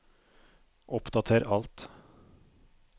oppdater alt